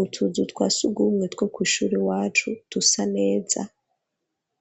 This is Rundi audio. Utuzu twasugumwe two kw'ishuri iwacu dusa neza,